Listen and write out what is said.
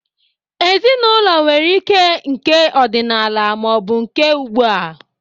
Ezinaụlọ nwere ike nke ọdịnala ma ọ bụ nke ugbua.